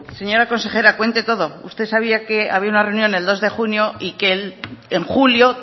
señora consejera cuente todo usted sabía que había una reunión el dos de junio y que en julio